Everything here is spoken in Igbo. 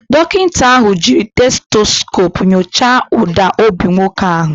Dọkịta ahụ jiiri stetoskopu nyochaa ụda obi nwoke ahụ